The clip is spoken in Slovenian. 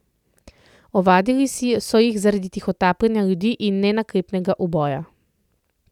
Ovadili so jih zaradi tihotapljenja ljudi in nenaklepnega uboja.